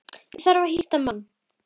Ég þarf að hitta mann.